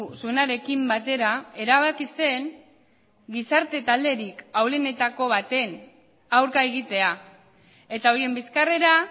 zuenarekin batera erabaki zen gizarte talderik ahulenetako baten aurka egitea eta horien bizkarrera